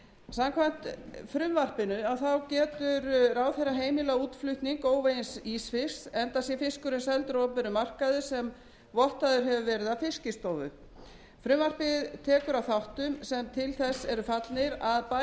samkvæmt frumvarpinu getur ráðherra heimilað útflutning óvegins ísfisks enda sé fiskurinn seldur á opinberum markaði sem vottaður hefur verið af fiskistofu frumvarpið tekur á þáttum sem til þess eru fallnir að bæta aðgengi fiskkaupenda